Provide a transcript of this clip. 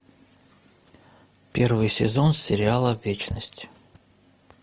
первый сезон сериала вечность